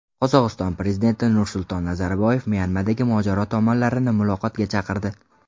Qozog‘iston prezidenti Nursulton Nazarboyev Myanmadagi mojaro tomonlarini muloqotga chaqirdi.